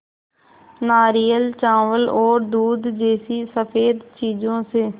नारियल चावल और दूध जैसी स़फेद चीज़ों से